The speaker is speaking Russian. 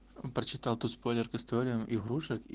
прочитал тут спойлер к историям игрушек и